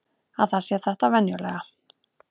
Að það sé þetta venjulega.